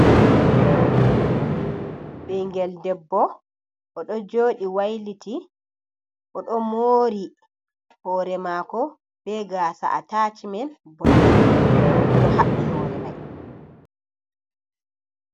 Ɓingel debbo oɗo joɗi wailiti oɗo mori hore mako be gasa attacmen boɗejum oɗo haɓɓi hore mai.